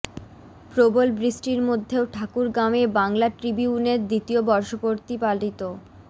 প্রবল বৃষ্টির মধ্যেও ঠাকুরগাঁওয়ে বাংলা ট্রিবিউনের দ্বিতীয় বর্ষপূর্তি পালিত